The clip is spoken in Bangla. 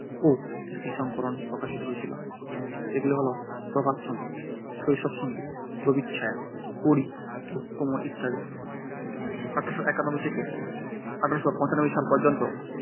ও গীতিসংকলন প্রকাশিত হয়েছিল। এগুলি হলো প্রভাতসংগীত, শৈশবসঙ্গীত, রবিচ্ছায়া, কড়ি ও কোমল ইত্যাদি। এক হাজার আট শো একানব্বই থেকে এক হাজার আট শো পঁচানব্বই সাল পর্যন্ত